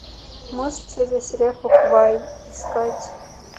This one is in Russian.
мост через реку квай искать